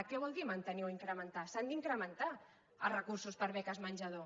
què vol dir mantenir o incrementar s’han d’incrementar els recursos per a beques menjador